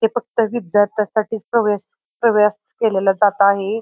हे फक्त विद्यार्याथ्यांसाठीच प्रवेश प्रवेश केलेला जात आहे.